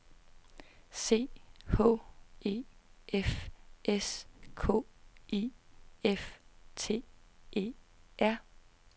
C H E F S K I F T E R